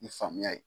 Ni faamuya ye